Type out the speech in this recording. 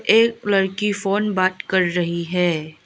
एक लड़की फोन बात कर रही है।